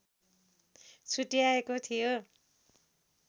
छुट्ट्याएको थियो